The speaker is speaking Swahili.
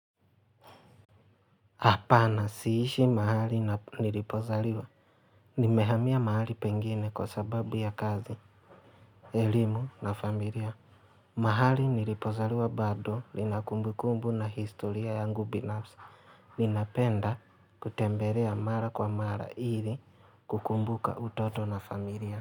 Hapana, siishi mahali nilipozaliwa. Nimehamia mahali pengine kwa sababu ya kazi. Elimu na familia. Mahali nilipozaliwa bado lina kumbukumbu na historia yangu binafsi. Ninapenda kutembelea mara kwa mara ili kukumbuka utoto na familia.